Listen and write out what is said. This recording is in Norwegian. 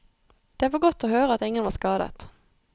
Det var godt å høre at ingen var skadet.